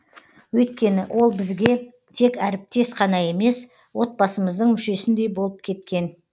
өйткені ол бізге тек әріптес қана емес отбасымыздың мүшесіндей болып кеткен